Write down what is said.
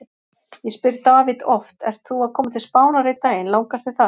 Ég spyr David oft: Ert þú að koma til Spánar einn daginn, langar þig það?